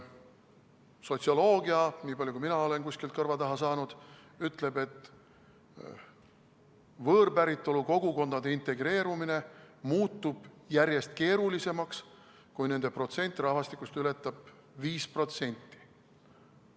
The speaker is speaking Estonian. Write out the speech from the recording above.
Sotsioloogia, niipalju, kui mina olen kuskilt kõrva taha saanud, ütleb, et võõrpäritolu kogukondade integreerumine muutub järjest keerulisemaks, kui nende protsent rahvastikust ületab 5%.